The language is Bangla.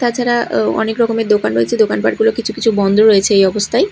তাছাড়া ও অনেক রকমের দোকান রয়েছে দোকানপাটগুলো কিছু কিছু বন্ধ রয়েছে এই অবস্থায়।